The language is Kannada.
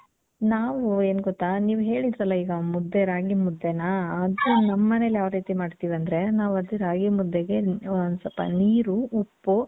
ನಾವು ಎನ್ ಗೊತ್ತಾ ನೀವ್ ಹೇಳದ್ರಲ್ಲ ಈಗ ಮುದ್ದೆ ರಾಗಿ ಮುದ್ದೆನ ಅದು ನಮ್ಮ ಮನೇಲಿ ಯಾವ್ ರೀತಿ ಮಾಡ್ತಿವಿ ಅಂದ್ರೆ ನಾವ್ ಅದು ರಾಗಿ ಮುದ್ದೆಗೆ ಒಂದ್ ಸ್ವಲ್ಪ ನೀರು, ಉಪ್ಪು,